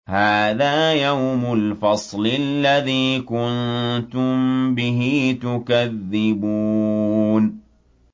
هَٰذَا يَوْمُ الْفَصْلِ الَّذِي كُنتُم بِهِ تُكَذِّبُونَ